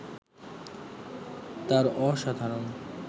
তার অসাধারণ